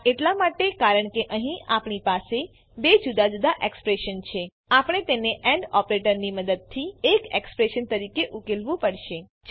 આ એટલા માટે કારણ કે અહીં આપણી પાસે બે જુદા જુદા એક્સપ્રેશન છે આપણે તેને એન્ડ ઓપરેટરની મદદથી એક એક્સપ્રેશન તરીકે ઉકેલવું પડશે